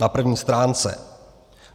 Na první stránce.